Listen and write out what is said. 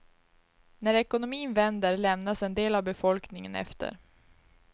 När ekonomin vänder lämnas en del av befolkningen efter.